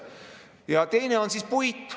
Ja teine on puit.